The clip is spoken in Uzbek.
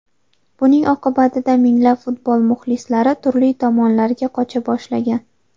Buning oqibatida minglab futbol muxlislari turli tomonlarga qocha boshlagan.